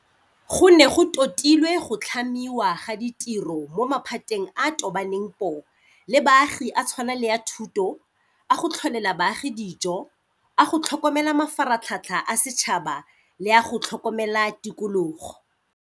Go ne go totilwe go tlhamiwa ga ditiro mo maphateng a a tobaneng poo le baagi a tshwana le a thuto, a go tlholela baagi dijo, a go tlhokomela mafaratlhatlha a setšhaba le a go tlhokomela tikologo.